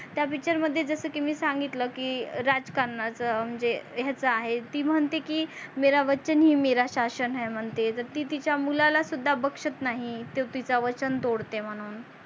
त्या picture मध्ये जस की मी सांगितल की राजकारणच म्हणजे याच आहे ती म्हणते की मेरा वचन ही मेरा शासन हे म्हणते ती तिचा मुलाला सुद्धा बक्षत नाही ते तिचा वचन तोडते म्हणून